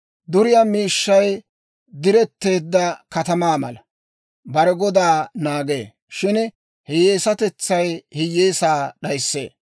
Duriyaa miishshay diretteedda katamaa mala, bare godaa naagee; shin hiyyeesatetsay hiyyeesaa d'ayissee.